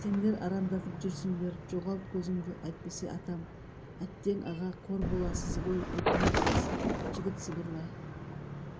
сендер араңдатып жүрсіңдер жоғалт көзіңді әйтпесе атам әттең аға қор боласыз ғой өкінесіз жігіт сыбырлай